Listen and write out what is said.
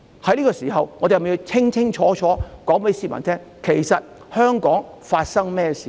在這個時候，我們是否要清楚告訴市民，香港發生了甚麼事呢？